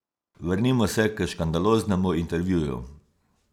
Vrnimo se k škandaloznemu intervjuju.